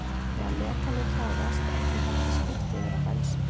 Þegar metanið klárast er því hægt að skipta yfir á bensín.